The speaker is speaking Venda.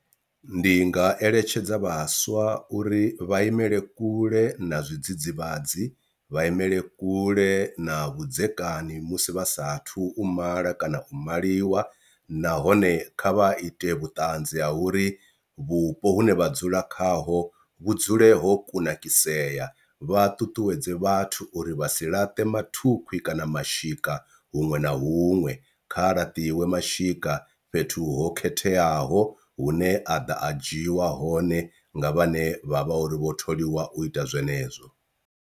Ndi nga eletshedza vhaswa uri vha imele kule na zwidzidzivhadzi vha imele kule na vhudzekani musi vha sathu u mala kana u maliwa, nahone kha vha ite vhutanzi ha uri vhupo hune vha dzula khaho vhu dzule ho kunakisea vha ṱuṱuwedze vhathu uri vha si laṱe mathukhwi kana mashika huṅwe na huṅwe. Kha laṱiwe mashika fhethu ho khetheaho hune a ḓa a dzhiiwa hone nga vhane vha vha uri vho tholiwa u ita zwenezwo.